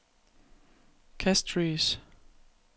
Castries